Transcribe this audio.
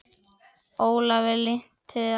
Ólafi lynti við alla